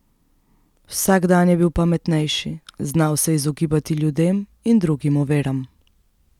Vsak dan je bil pametnejši, znal se je izogibati ljudem in drugim oviram.